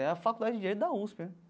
É a Faculdade de Direito da USP, né?